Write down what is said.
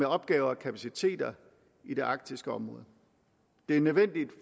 opgaver og kapaciteter i det arktiske område det er nødvendigt